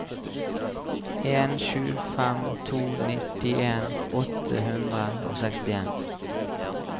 en sju fem to nittien åtte hundre og sekstien